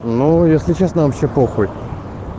ну если честно вообще похуй